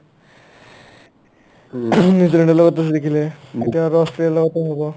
উম ing নিউজিলেণ্ডৰ লগতটো জিকিলে এতিয়া আৰু অষ্ট্ৰেলিয়াৰ লগতটো হ'ব ।